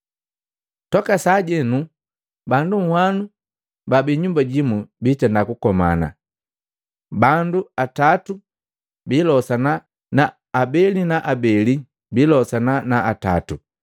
Toka sajeno bandu nhwano baabii nnyumba jimu biitenda kukomana, bandu atatu biilosana na abeli na abeli bilosana na atatu.